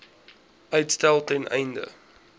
uitstel ten einde